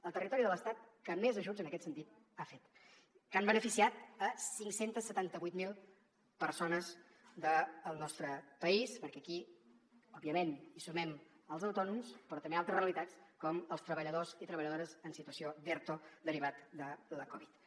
el territori de l’estat que més ajuts en aquest sentit ha fet que han beneficiat cinc cents i setanta vuit mil persones del nostre país perquè aquí òbviament hi sumem els autònoms però també altres realitats com els treballadors i treballadores en situació d’erto derivat de la covid dinou